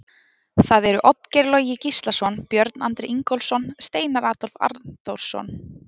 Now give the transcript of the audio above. Það eru Oddgeir Logi Gíslason, Björn Andri Ingólfsson, Steinar Adolf Arnþórsson.